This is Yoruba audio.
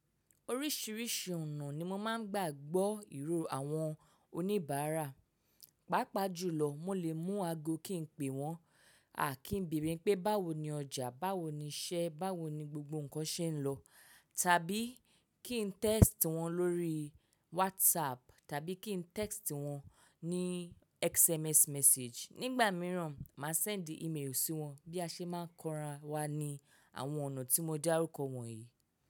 Oríṣiríṣi ọ̀nà ni mo máa ń gbà gbọ́ ìró àwọn oníbàárà. Pápá jùlọ mo lè mú aago kí n pe wọ́n, à kí n bèèrè pé báwo ni ọjà, báwo ni iṣẹ́, báwo ni gbogbo nǹkan ṣe ń lọ, tàbí kí n text wọn lórí WhatsApp tàbí kí n text wọn ní SMS message. Nígbà mìíràn máa send email sí wọn bí a ṣe máa ń kọran wa ní àwọn ọ̀nà tí mo dárúkọ wọ̀nyí.